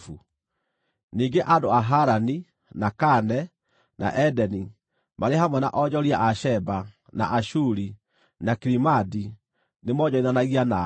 “ ‘Ningĩ andũ a Harani, na Kane, na Edeni, marĩ hamwe na onjoria a Sheba, na Ashuri, na Kilimadi nĩmoonjorithanagia nawe.